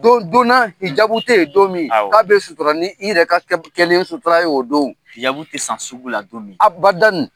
Don donna hijabu te yen don min, k'a bi sutura ni i yɛrɛ ka kɛlen sutura ye o don . Hijabu ti san sugu la don min . Abadani